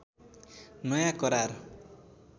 नयाँ करार